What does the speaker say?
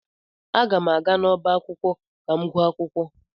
Aga m aga n'ọbá akwụkwọ ka m gụọ akwukwo.